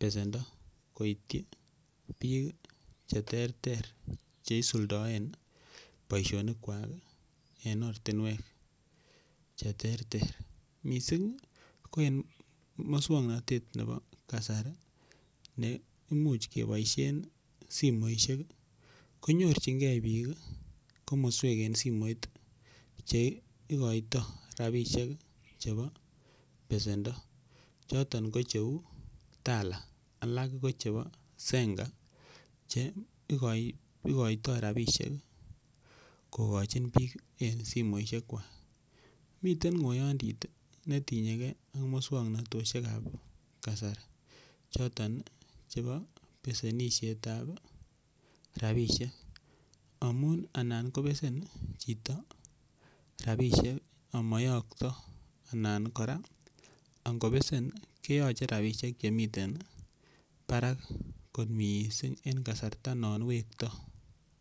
besendo koityi biik che terter che isuldaen boisionik kwak en ortinwek che terter mising ko en muswoknatet nebo kasari ne imuch keboisien simoishek konyorjinge biik komoswek en simoit che igoitoi rabishek chebo besendo. Choton ko cheu Tala alak ko chebo Zenga che igotoi rabisiek kogochin biik en simoishek kwak. Miten ng'oyondit ne tinye ge ak muswoknatosiek ab kasari choton chebo besenisiet ab rabisiek amun anan kobesen chito rabisiek amo yokto anan kora angobesen keyoche rabisiek chemiten barak kot mising en kasarta non wekto.